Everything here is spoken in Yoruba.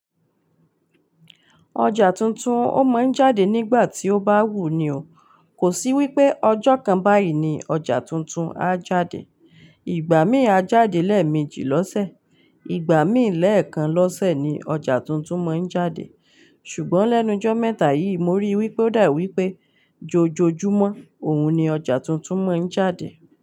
Ọjà tuntun ó ma ń jáde nígbà tí ó bá wù ú ni o. Kò sí wípé ọjọ́ kan báyìí ni ọjà tuntun á jáde. Ìgbà mí á jáde lẹ́ẹ̀mejì lọ́sẹ̀, ìgbà mí ì lẹ́ẹ̀kan lọ́sẹ̀ ni ọjà tuntun mọ́ ń jáde. Ṣùgbọ́n lẹ́nu jọ́ mẹ́ta yìí mo ríi wípé ó dà wípé jójójúmọ́ òun ni ọjà tuntun mọ́ ń jáde.